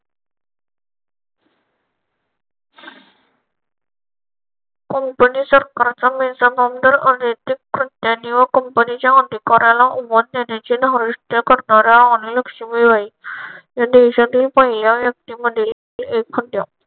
Company सरकारच्या बेजबाबदार अनैतिक कृत्याने व कंपनीच्या अधिकाऱ्याला उमा त्याने चे धारिष्ट करणाऱ्या राणी लक्ष्मीबाई या देशातील पहिल्या व्यक्तींमध्ये एक होत्या.